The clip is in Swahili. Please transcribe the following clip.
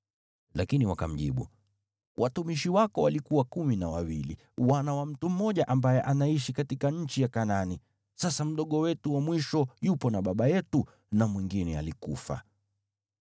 Lakini wakamjibu, “Watumishi wako walikuwa kumi na wawili, wana wa mtu mmoja ambaye anaishi katika nchi ya Kanaani. Sasa mdogo wetu wa mwisho yupo na baba yetu na mwingine alikufa.”